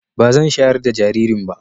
Ba zan shayar da jaririn ba